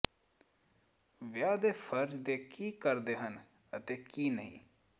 ਵਿਆਹ ਦੇ ਫ਼ਰਜ਼ ਦੇ ਕੀ ਕਰਦੇ ਹਨ ਅਤੇ ਕੀ ਨਹੀਂ